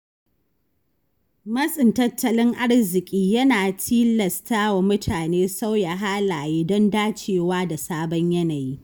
Matsin tattalin arziki yana tilasta wa mutane sauya halaye don dacewa da sabon yanayi.